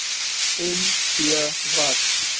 en b wat